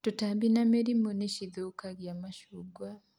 Tũtambĩ na mĩrĩmũ nĩ cĩthũkagia macungwa